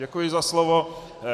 Děkuji za slovo.